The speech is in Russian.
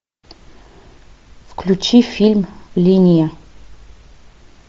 включи фильм линия